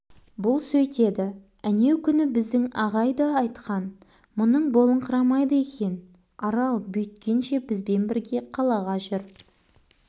бұл сөйтеді әнеукүні біздің ағай да айтқан мұның болыңқырамайды екен арал бүйткенше бізбен бірге қалаға жүр